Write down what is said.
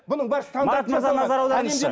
бұның бәрі марат мырза назар аударыңызшы